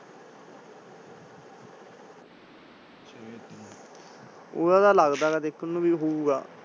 ਫੜਾ ਤਾਂ ਲਗਦਾ ਹੈਗਾ ਬਾਯੀ ਦੇਖਣ ਨੂੰ ਹੋਊਗਾ।